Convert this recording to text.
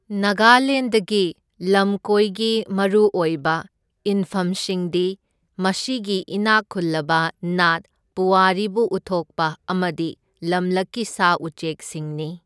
ꯅꯥꯒꯥꯂꯦꯟꯗꯒꯤ ꯂꯝꯀꯣꯏꯒꯤ ꯃꯔꯨ ꯑꯣꯏꯕ ꯏꯟꯐꯝꯁꯤꯡꯗꯤ ꯃꯁꯤꯒꯤ ꯏꯅꯥꯛ ꯈꯨꯜꯂꯕ ꯅꯥꯠ, ꯄꯨꯋꯥꯔꯤꯕꯨ ꯎꯠꯊꯣꯛꯄ ꯑꯃꯗꯤ ꯂꯝꯂꯛꯀꯤ ꯁꯥ ꯎꯆꯦꯛꯁꯤꯡꯅꯤ꯫